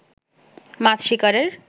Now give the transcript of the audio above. মাছ শিকারের